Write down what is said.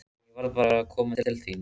En ég varð bara að koma til þín.